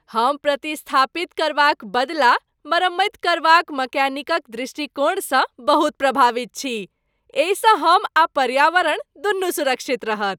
हम प्रतिस्थापित करबाक बदला मरम्मति करबाक मैकेनिकक दृष्टिकोणसँ बहुत प्रभावित छी। एहिसँ हम आ पर्यावरण दुनू सुरक्षित रहत।